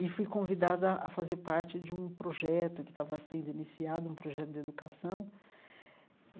E fui convidada a fazer parte de um projeto que estava sendo iniciado, um projeto de educação.